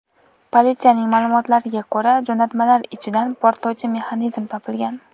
Politsiyaning ma’lumotlariga ko‘ra, jo‘natmalar ichidan portlovchi mexanizm topilgan.